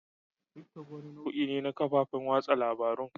Tick-tock wani nau'i ne na kafofin watsa labarun.